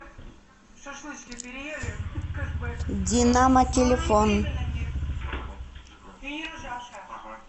динамо телефон